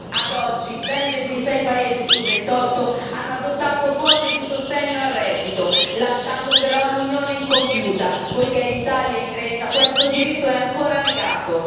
Ad oggi ben 26 paesi su 28 hanno adottato forme di sostegno al reddito, lasciando però Unione incompiuta, poiché in Italia e in Grecia questo diritto è ancora negato.